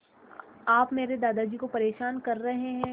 आप मेरे दादाजी को परेशान कर रहे हैं